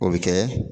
O bɛ kɛ